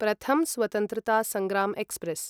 प्रथम् स्वतंत्रता सङ्ग्रं एक्स्प्रेस्